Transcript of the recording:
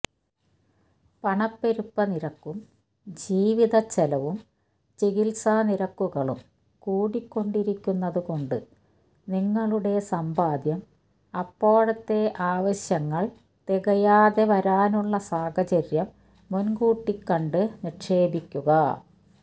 പണപ്പെരുപ്പനിരക്കും ജീവിതച്ചെലവും ചികില്സാനിരക്കുകളും കൂടിക്കൊണ്ടിരിക്കുന്നതുകൊണ്ട് നിങ്ങളുടെ സമ്പാദ്യം അപ്പോഴത്തെ ആവശ്യങ്ങള് തികയാതെ വരാനുള്ള സാഹചര്യം മുന്കൂട്ടി കണ്ട് നിക്ഷേപിക്കുക